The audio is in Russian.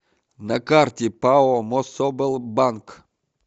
на карте пао мособлбанк